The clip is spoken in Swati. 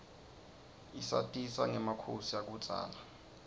isatisa rgemakhosi akubzala